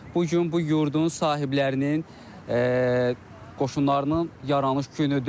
Bu gün bu yurdun sahiblərinin qoşunlarının yaranış günüdür.